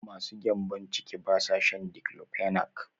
Masu gyambo ciki ba sa shan diclofenac.